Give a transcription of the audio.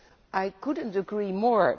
I could not agree more